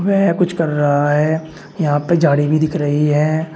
वह कुछ कर रहा है यहां पे झाड़ी भी दिख रही है।